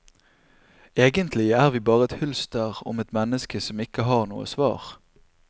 Egentlig er vi bare et hylster om et menneske som ikke har noe svar.